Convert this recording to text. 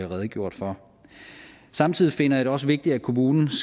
redegjort for samtidig finder jeg det også vigtigt at kommunen